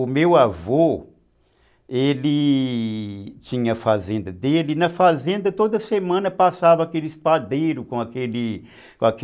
O meu avô, ele tinha a fazenda dele e na fazenda toda semana passava aquele espadeiro com aquele com aquele...